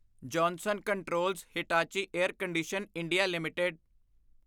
Johnson Controls Hitachi air condition. India limited